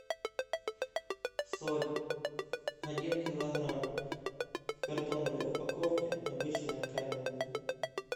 соль один килограмм в картонной упаковке обычная каменная